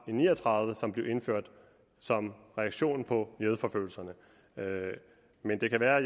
ni og tredive som blev indført som reaktion på jødeforfølgelserne men det kan være at